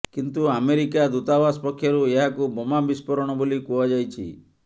କିନ୍ତୁ ଆମେରିକା ଦୂତାବାସ ପକ୍ଷରୁ ଏହାକୁ ବୋମା ବିସ୍ଫୋରଣ ବୋଲି କୁହାଯାଇଛି